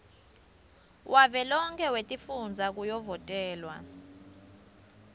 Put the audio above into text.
wavelonkhe wetifundza kuyovotelwa